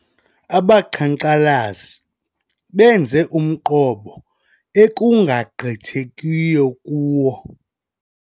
Abaqhankqalazi benze umqobo ekungagqithekiyo kuwo.